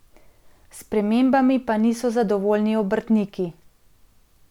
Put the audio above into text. S spremembami pa niso zadovoljni obrtniki.